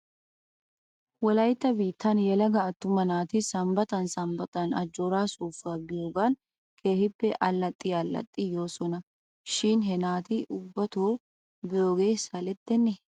Wolaytta biittan yelaga attuma naati sambbatan sambbatan ajooraa soossuwaa biyoogan keehippe allaxxi allaxxidi yoosona shin he naata ubbato biyoogee salettenee?